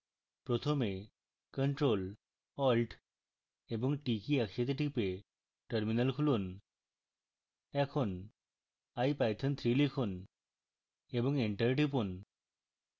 প্রথমে ctrl + alt + t কী একসাথে type terminal খুলুন এখন ipython3 লিখুন এবং enter টিপুন